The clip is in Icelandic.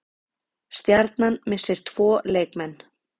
Stjarnan missir tvo leikmenn